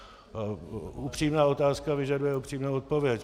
Upřímná otázka vyžaduje upřímnou odpověď.